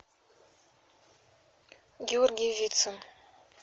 георгий вицин